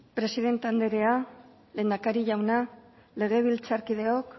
presidente andrea lehendakari jauna legebiltzarkideok